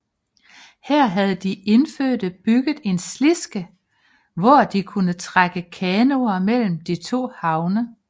Her havde de indfødte bygget en slidske hvor de kunne trække kanoer mellem de to havne